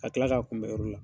Ka kila ka kunbɛn o yɔrɔ la.